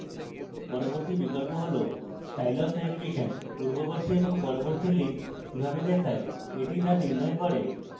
পরবর্তী বিকল্প হল style of navigation পূর্ববর্তী এবং পরবর্তী links কিভাবে দেখায় the the নির্ণয় করে